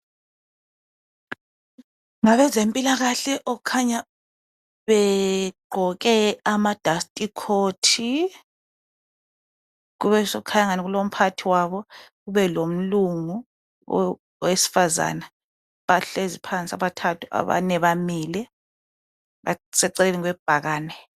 Ngabezempilakahle okukhanya begqoke ama dust coat. Kube sokukhanya angani kulomphathi wabo ,kubelomlungu owesifazana. Bahlezi phansi abathathu abane bamile. Baseceleni kwebhakane.